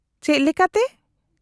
-ᱪᱮᱫ ᱞᱮᱠᱟᱛᱮ ?